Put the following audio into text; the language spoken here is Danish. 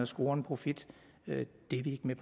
score en profit det er vi ikke med